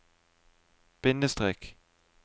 bindestrek